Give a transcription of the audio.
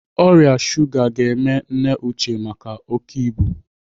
Ọrịa shuga ga-eme nne Uche maka oké ibu.